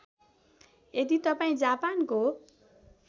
यदि तपाईँ जापानको